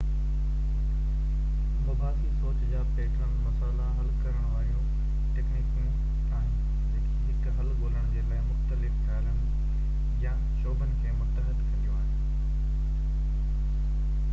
مباحثي سوچ جا پيٽرن مسئلا حل ڪرڻ واريون تڪنيڪون آهن جيڪي هڪ حل ڳولڻ جي لاءِ مختلف خيالن يا شعبن کي متحد ڪنديون آهن